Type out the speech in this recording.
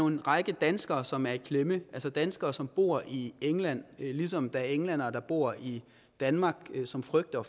en række danskere som er i klemme det er danskere som bor i england ligesom der er englændere der bor i danmark som frygter